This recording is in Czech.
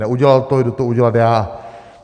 Neudělal to, jdu to udělat já.